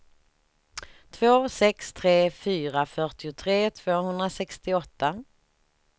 två sex tre fyra fyrtiotre tvåhundrasextioåtta